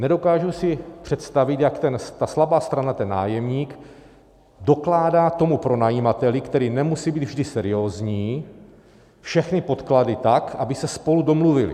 Nedokážu si představit, jak ta slabá strana, ten nájemník, dokládá tomu pronajímateli, který nemusí být vždy seriózní, všechny podklady tak, aby se spolu domluvili.